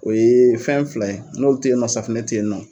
O ye fɛn fila n'olu te yen nɔ, safunɛ te yen nɔ .